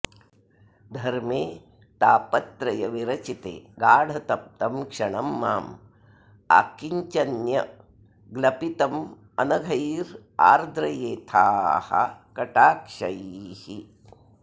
धर्मे ताप त्र य विरचिते गाढ तप्तं क्षणं माम् आकिञ्चन्य ग्लपितमनघैरार्द्रयेथाः कटाक्षैः